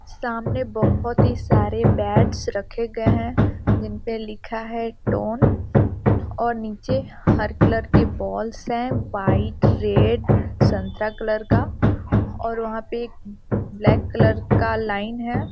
सामने बोहोत ही सारे बैट्स रखे गए हैं जिनपे लिखा है टोन और नीचे हर कलर के बॉल्स हैं वाइट रेड संतरा कलर का और वहाँ पे एक ब्लैक कलर का लाइन है |